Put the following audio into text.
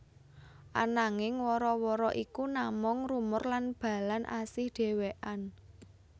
Ananging wara wara iku namung rumor lan Balan asih dhewekén